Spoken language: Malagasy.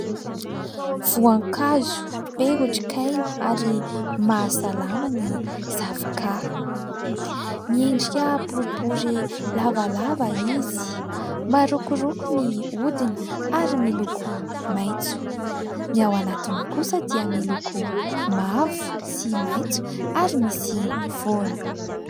Voankazo be otrik'aina ary mahasalama ny zavoka. Miendrika boribory lavalava izy, marokoroko ny hodiny ary miloko maitso ; ny ao anatiny kosa dia miloko mavo sy maitso ary misy voany.